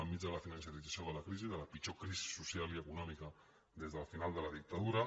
enmig de la financerització de la crisi de la pitjor crisi social i econòmica des del final de la dictadura